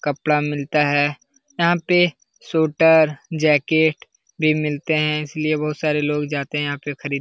कपड़ा मिलता है। यहाँ पे सूट और जैकेट भी मिलते है इसलिए बहोत सारे लोग जाते हैं यहाँ पे खरीदने के लिए।